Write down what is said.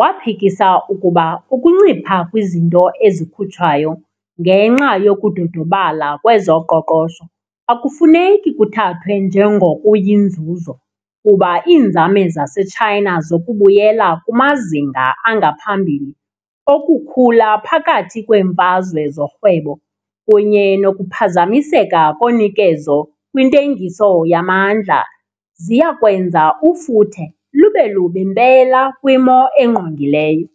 waphikisa ukuba ukuncipha kwizinto ezikhutshwayo ngenxa yokudodobala kwezoqoqosho akufuneki kuthathwe njengokuyinzuzo kuba iinzame zaseChina zokubuyela kumazinga angaphambili okukhula phakathi kweemfazwe zorhwebo kunye nokuphazamiseka konikezo kwintengiso yamandla ziyakwenza ufuthe lube lubi mpela kwimo engqongileyo.